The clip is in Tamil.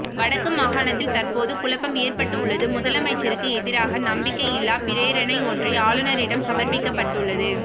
வடக்கு மாகாணத்தில் தற்போது குழப்பம் ஏற்பட்டுள்ளதுமுதலமைச்சருக்கு எதிராக நம்பிக்கை இல்லா பிரேரணை ஒன்று ஆளுநரிடம் சமர்ப்பிக்கப்பட்டுள்ளது